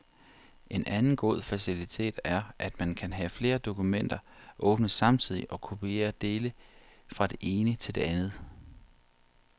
En anden god facilitet er, at man kan have flere dokumenter åbne samtidig og kopiere dele fra det ene til det andet.